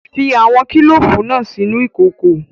Fi awọn kilofu naa sinu ikoko